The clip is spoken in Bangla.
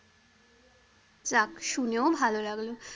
যাক শুনেও ভালো লাগলো।